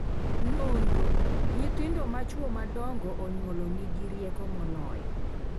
Nonro: Nyithindo ma chwo madongo onyuolo nigi rieko moloyo